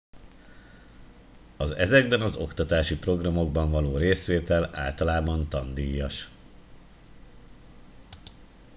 az ezekben az oktatási programokban való részvétel általában tandíjas